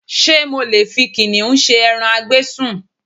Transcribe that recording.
Ṣé mo lè fi kìnnìún ṣe ẹran a gbé sùn?